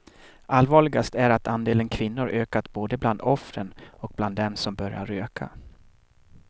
Allvarligast är att andelen kvinnor ökat både bland offren och bland dem som börjar röka.